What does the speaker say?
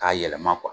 K'a yɛlɛma